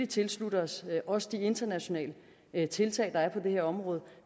tilslutter os os de internationale tiltag der er på det her område